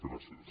gràcies